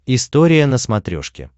история на смотрешке